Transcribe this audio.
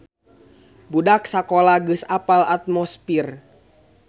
Budak sakola geus apal atmosfir